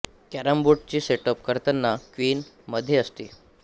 केरम board चे setup करताना queen मध्ये असते